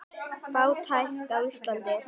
Fátækt á Íslandi